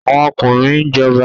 Àwọn ọkùnrin ń jọba